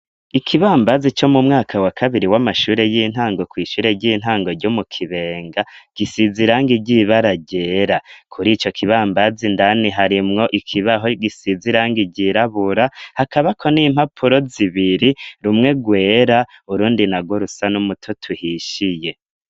Ikibambazi co mu mwaka wa kabiri w'amashure y'intango kw'ishure ry'intango ryo mu Kibenga gisize irangi ry'ibara ryera. Kuri ico kibambazi, indani harimwo ikibaho gisize irangi ryirabura, hakaba ko n'impapuro zibiri rumwe rwera urundi na go rusa n'umutoto tuhishiye.